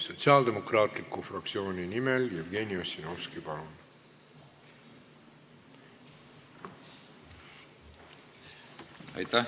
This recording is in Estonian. Sotsiaaldemokraatliku Erakonna fraktsiooni nimel Jevgeni Ossinovski, palun!